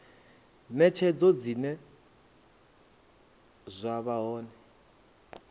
netshedzo zwine zwa vha hone